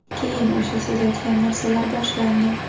Keyin o‘sha siz aytgan narsalar boshlandi.